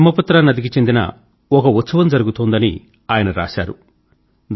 బ్రహ్మపుత్ర నది పై ఒక ఉత్సవం జరుగుతోందని ఆయన రాశారు